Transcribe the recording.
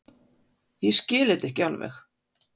Ég skil þetta ekki alveg.